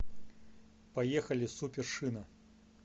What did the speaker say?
поехали супер шина